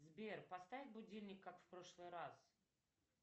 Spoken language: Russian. сбер поставь будильник как в прошлый раз